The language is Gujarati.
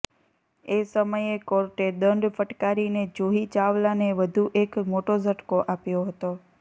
એ સમયે કોર્ટે દંડ ફટકારીને જુહી ચાવલાને વધુ એક મોટો ઝટકો આપ્યો હતો